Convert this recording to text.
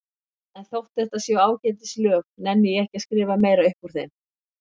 En þótt þetta séu ágætis lög nenni ég ekki að skrifa meira upp úr þeim.